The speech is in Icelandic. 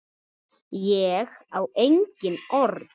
Ég á engin orð.